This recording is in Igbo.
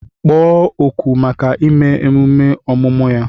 Kpọọ oku maka ime emume ọmụmụ ya!